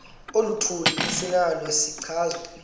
oluthile esinalo isichazwa